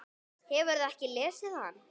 Hefurðu ekki lesið hann?